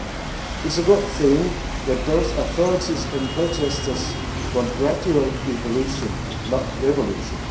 It is a good thing that both authorities and protesters want gradual evolution, not revolution.